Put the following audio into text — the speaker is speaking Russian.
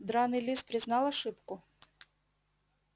драный лис признал ошибку